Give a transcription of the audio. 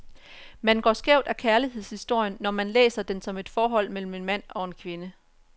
Man går skævt af kærlighedshistorien, når man læser den som et forhold mellem en mand og en kvinde.